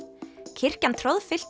kirkjan